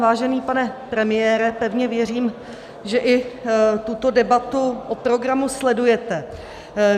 Vážený pane premiére, pevně věřím, že i tuto debatu o programu sledujete.